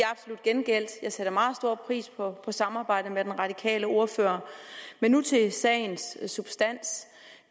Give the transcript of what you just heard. absolut gengældt jeg sætter meget stor pris på samarbejdet med den radikale ordfører men nu til sagens substans